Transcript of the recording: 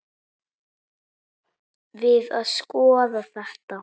Við að skoða þetta.